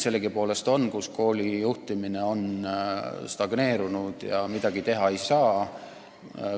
Sellegipoolest on näiteid, kus kooli juhtimine on stagneerunud, aga midagi teha ei saa.